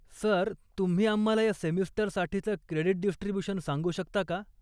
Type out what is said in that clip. Sir, तुम्ही आम्हाला या सेमिस्टरसाठीचं क्रेडीट डिस्ट्रिब्युशन सांगू शकता का?